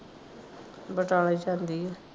ਬਟਾਲੇ ਜਾਂਦੀ ਆ।